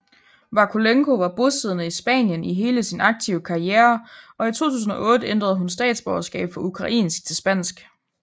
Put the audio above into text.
Vakulenko var bosiddende i Spanien i hele sin aktive karriere og i 2008 ændrede hun statsborgerskab fra ukrainsk til spansk